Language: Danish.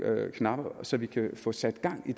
knapper at så vi kan få sat gang i